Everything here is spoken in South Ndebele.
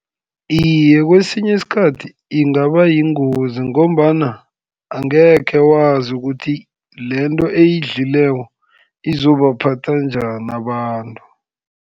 Iye kesinye isikhathi ingaba yingozi, ngombana angekhe wazi ukuthi lento eyidlileko izobaphatha njani abantu.